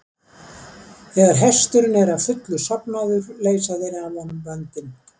Þegar hesturinn er að fullu sofnaður leysa þeir af honum böndin.